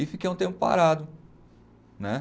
E fiquei um tempo parado. Né